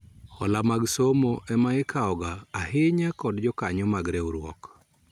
Hola mag somo ema ikawo ga ahinya kod jokanyo mag riwruok